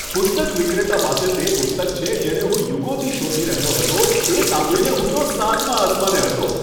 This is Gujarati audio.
પુસ્તક વિક્રેતા પાસે તે પુસ્તક છે જેને હું યુગોથી શોધી રહ્યો હતો એ સાંભળીને હું તો સાતમા આસમાને હતો!